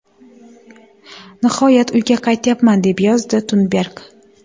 Nihoyat uyga qaytyapman!”, deb yozdi Tunberg.